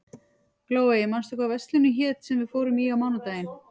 Glóey, manstu hvað verslunin hét sem við fórum í á mánudaginn?